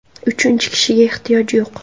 Uchinchi kishiga ehtiyoj yo‘q.